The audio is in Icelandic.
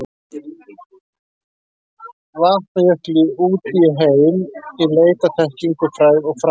Vatnajökli út í heim í leit að þekkingu, frægð og frama.